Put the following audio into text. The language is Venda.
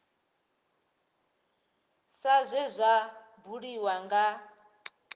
sa zwe zwa buliwa nga